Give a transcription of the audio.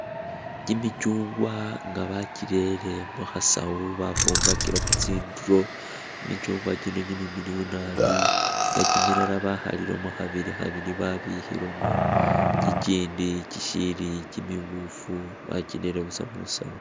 Kimichungwa nga bachirere mukhasawu bafumbakakilekho tsindulo kimichungwa kino kimilayi naabi nga chimilala bakhalilemo khabili khabili babikhilemo, kikindi kisiili kimimufu bakirere musaawu.